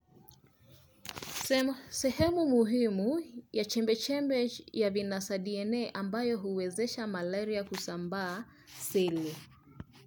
rh5 - sehemu muhimu ya chembe chembe ya vinasaba DNA ambayo huwezesha malaria kushambulia celi